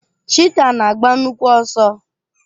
Chiita na agba nnukwu ọsọ.